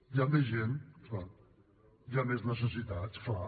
) hi ha més gent clar hi ha més necessitats clar